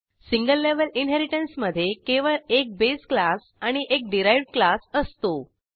single level इनहेरिटन्समधे केवळ एक बेस क्लास आणि एक डिराइव्ह्ड क्लास असतो